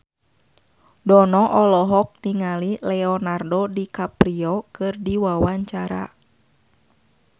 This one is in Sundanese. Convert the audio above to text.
Dono olohok ningali Leonardo DiCaprio keur diwawancara